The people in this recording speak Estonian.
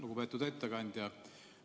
Lugupeetud ettekandja!